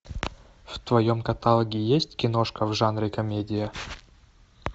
в твоем каталоге есть киношка в жанре комедия